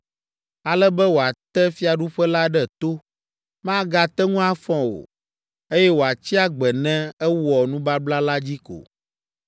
ale be wòate fiaɖuƒe la ɖe to, magate ŋu afɔ o, eye wòatsi agbe ne ewɔ nubabla la dzi ko.